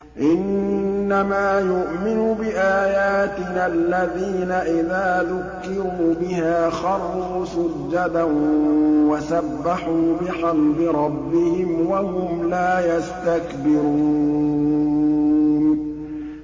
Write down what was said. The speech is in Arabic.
إِنَّمَا يُؤْمِنُ بِآيَاتِنَا الَّذِينَ إِذَا ذُكِّرُوا بِهَا خَرُّوا سُجَّدًا وَسَبَّحُوا بِحَمْدِ رَبِّهِمْ وَهُمْ لَا يَسْتَكْبِرُونَ ۩